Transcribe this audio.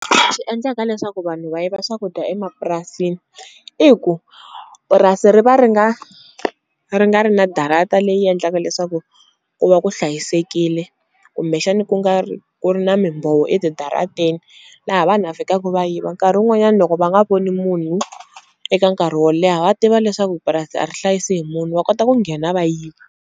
Swi endlaka leswaku vanhu va yiva swakudya emapurasini i ku purasi ri va ri nga ri nga ri na darata leyi endlaka leswaku ku va ku hlayisekile kumbexani ku nga ri ku ri na mimbhovo etidarateni laha vanhu a fikaku va yiva nkarhi wun'wanyani loko va nga voni munhu eka nkarhi wo leha va tiva leswaku purasi a ri hlayisi hi munhu wa kota ku nghena va yiva.